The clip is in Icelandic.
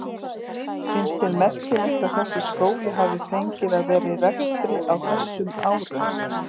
Finnst þér merkilegt að þessi skóli hafi fengið að vera í rekstri á þessum árum?